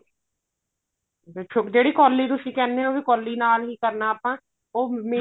ਅੱਛਾ ਜਿਹੜੀ ਕੋਲੀ ਤੁਸੀਂ ਕਹਿੰਦੇ ਹੋ ਕੋਲੀ ਨਾਲ ਹੀ ਕਰਨਾ ਆਪਾਂ ਉਹ